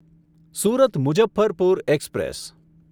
Surat Muzaffarpur express